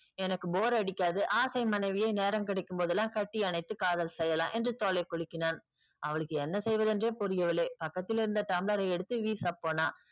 எனக்கு bore அடிக்காது ஆசை மனைவியை நேரம் கிடைக்கும் போதுலாம் கட்டி அனைத்து காதல் செய்யலாம் என்று தோளை குலுக்கினான் அவளுக்கு என்ன சொல்வது என்றே புரியவில்லை பக்கத்தில் இருந்த டம்ளரை எடுத்து வீசப்போனால்